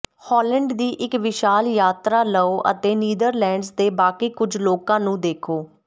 Holland ਦੀ ਇਕ ਵਿਸ਼ਾਲ ਯਾਤਰਾ ਲਓ ਅਤੇ ਨੀਦਰਲੈਂਡਜ਼ ਦੇ ਬਾਕੀ ਕੁਝ ਲੋਕਾਂ ਨੂੰ ਦੇਖੋ